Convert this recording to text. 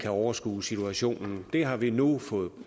overskue situationen det har vi nu fået